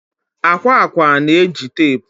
akwa akwa na-eji teepu